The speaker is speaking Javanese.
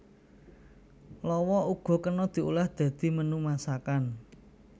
Lawa uga kena diolah dadi menu masakan